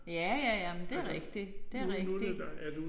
Ja ja ja men det rigtigt det rigtig